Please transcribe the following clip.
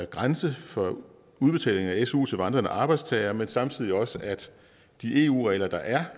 grænse for udbetaling af su til vandrende arbejdstagere men samtidig også at de eu regler der er